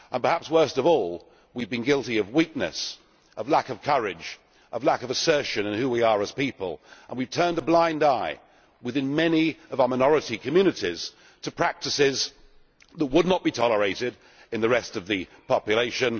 Perhaps worst of all, we have been guilty of weakness, of lack of courage and of a lack of assertion in who we are as people, and we have turned a blind eye within many of our minority communities to practices that would not be tolerated in the rest of the population.